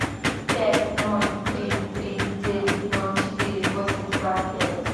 пять ноль три три девять ноль четыре восемь два пять